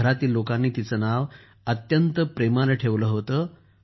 घरातील लोकांनी तिचं नाव अत्यंत प्रेमानं ठेवलं होतं